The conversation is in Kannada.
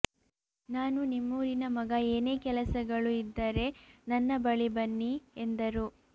ನಾನು ನಿಮ್ಮೂರಿನ ಮಗ ಏನೇ ಕೆಲಸಗಳು ಇದ್ದರೆ ನನ್ನ ಬಳಿ ಬನ್ನಿ ಎಂದರು